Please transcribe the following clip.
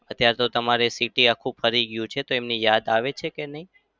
અત્યારે તો તમારે city આખું ફરી ગયું છે તો એમની યાદ આવે છે કે નઈ?